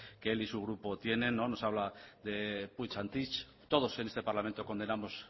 que él y su grupo tienen nos habla de todos en este parlamento condenamos